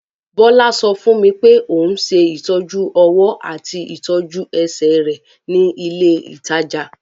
Bọ́lá sọ fún mi pé òun ṣe ìtọ́jú-ọwọ́ àti ìtọ́jú-ẹsẹ̀ rẹ̀ ní ilé-ìtajà.